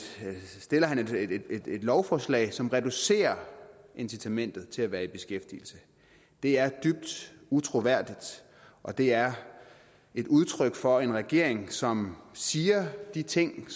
lovforslag som reducerer incitamentet til at være i beskæftigelse det er dybt utroværdigt og det er et udtryk for en regering som siger de ting